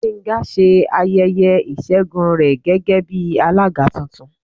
Gbenga se ayẹyẹ isègún re gégé bi alagá túntún.